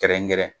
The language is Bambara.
Kɛrɛnkɛrɛn